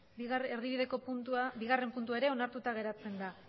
bigarrena puntua ere onartuta geratzen da